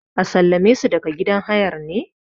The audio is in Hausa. a sallame su daga gidan hayar ne?